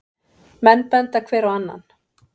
Menn benda hver á annan.